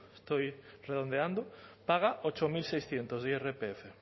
estoy redondeando paga ocho mil seiscientos de irpf